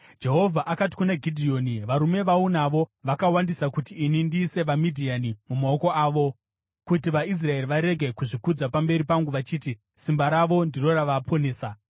Jehovha akati kuna Gidheoni, “Varume vaunavo vakawandisa kuti ini ndiise vaMidhiani mumaoko avo. Kuti vaIsraeri varege kuzvikudza pamberi pangu vachiti, simba ravo ndiro ravaponesa,